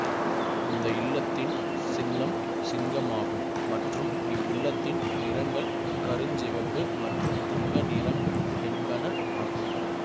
இந்த இல்லத்தின் சின்னம் சிங்கம் ஆகும் மற்றும் இவ்வில்லத்தின் நிறங்கள் கருஞ்சிவப்பு மற்றும் தங்க நிறம் என்பன ஆகும்